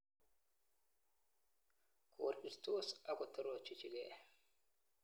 Korirtos ak kotorochichigei.